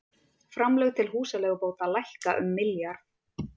Framlög til húsaleigubóta lækka um milljarð